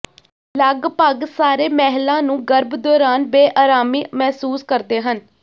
ਲਗਭਗ ਸਾਰੇ ਮਹਿਲਾ ਨੂੰ ਗਰਭ ਦੌਰਾਨ ਬੇਅਰਾਮੀ ਮਹਿਸੂਸ ਕਰਦੇ ਹਨ